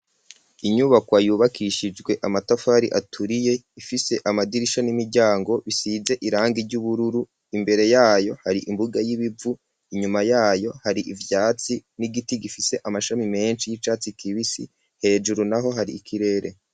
Inyubakwa yubakishijwe amatafari aturiye, ifise amadirisha n'imiryango bisize irangi ry'ubururu ,imbere yayo hari imbuga y'ibibivu ,inyuma yayo hari ivyatsi n'igiti gifise amashami menshi y'icatsi kibisi ,hejuru naho hari ikirere.